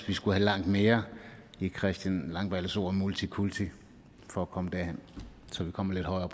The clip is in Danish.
vi skulle have langt mere end christian langballes ord om multikulti for at komme derhen så vi kommer lidt højere